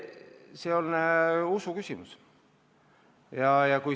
See on usu küsimus.